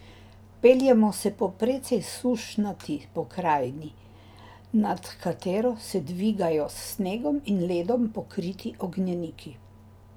Peljemo se po precej sušnati pokrajini, nad katero se dvigajo s snegom in ledom pokriti ognjeniki.